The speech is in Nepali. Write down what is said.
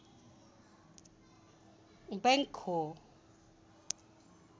बैङ्क हो